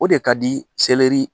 O de ka di seleri